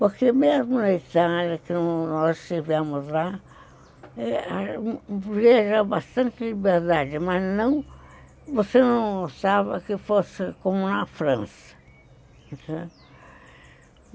Porque mesmo na Itália, que nós estivemos lá, vieram com bastante liberdade, mas você não pensava que fosse como na França.